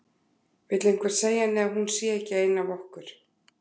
Vill einhver segja henni að hún sé ekki ein af okkur.